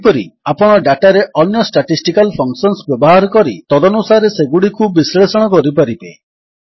ସେହିପରି ଆପଣ ଡାଟାରେ ଅନ୍ୟ ଷ୍ଟାଟିଷ୍ଟିକାଲ୍ ଫଙ୍କସନ୍ସ ବ୍ୟବହାର କରି ତଦନୁସାରେ ସେଗୁଡ଼ିକୁ ବିଶ୍ଳେଷଣ କରିପାରିବେ